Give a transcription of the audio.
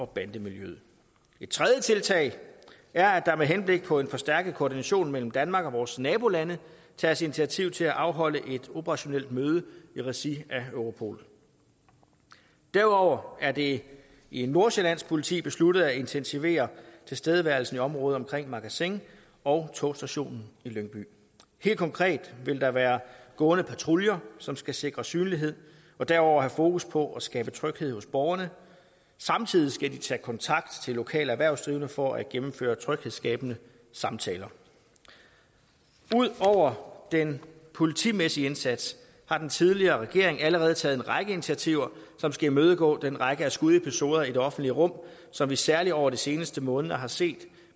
bande miljøet et tredje tiltag er at der med henblik på en forstærket koordination mellem danmark og vores nabolande tages initiativ til at afholde et operationelt møde i regi af europol derudover er det i nordsjællands politi besluttet at intensivere tilstedeværelsen i området omkring magasin og togstationen i lyngby helt konkret vil der være gående patruljer som skal sikre synlighed og derudover have fokus på at skabe tryghed hos borgerne samtidig skal de tage kontakt til lokale erhvervsdrivende for at gennemføre tryghedsskabende samtaler ud over den politimæssige indsats har den tidligere regering allerede taget en række initiativer som skal imødegå den række af skudepisoder i det offentlige rum som vi særlig over de seneste måneder har set